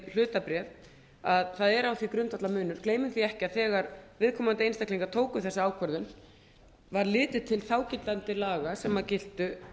hlutabréf að það er á því grundvallarmunur gleymum því ekki að þegar viðkomandi einstaklingar tóku þessa ákvörðun var litið til þágildandi laga sem giltu